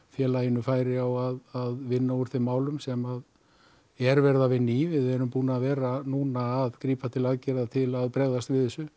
félaginu færi á að vinna úr þeim málum sem er verið að vinna í við erum búnir að vera núna að grípa til aðgerða til að bregðast við þessu